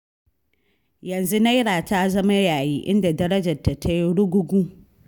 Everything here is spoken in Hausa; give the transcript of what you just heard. Yanzu Naira ta zama yayi, inda darajarta ta yi rugugu.